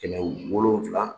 Kɛmɛ wolonwula